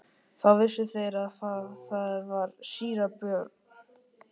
Þá vissu þeir að þar var síra Björn.